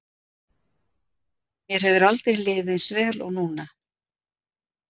Mér hefur aldrei liðið eins vel og núna.